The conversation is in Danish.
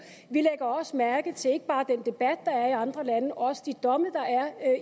vi lægger også mærke til ikke bare den debat der er i andre lande men også de domme der er